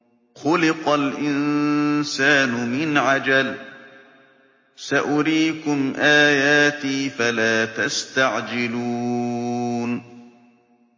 خُلِقَ الْإِنسَانُ مِنْ عَجَلٍ ۚ سَأُرِيكُمْ آيَاتِي فَلَا تَسْتَعْجِلُونِ